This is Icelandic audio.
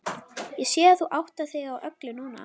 Ég sé að þú áttar þig á öllu núna.